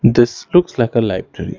This looks like a library.